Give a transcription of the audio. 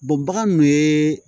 bagan dun ye